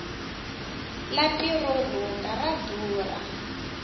lapi ro rhunga ra durha